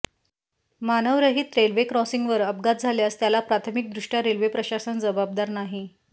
मानवरहीत railway क्रॉसिंगवर अपघात झाल्यास त्याला प्राथमिकदृष्टय़ा रेल्वे प्रशासन जबाबदार नाही